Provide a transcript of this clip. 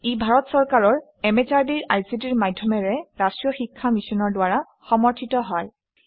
ইয়াক national mission on education through ICT MHRD government of India ই পৃষ্ঠপোষকতা আগবঢ়াইছে